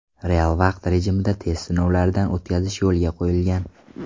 Real vaqt rejimida test sinovlaridan o‘tkazish yo‘lga qo‘yilgan.